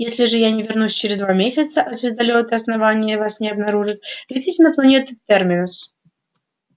если же я не вернусь через два месяца а звездолёты основания вас не обнаружат летите на планету терминус